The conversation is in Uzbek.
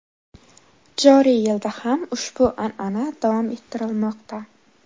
Joriy yilda ham ushbu an’ana davom ettirilmoqda.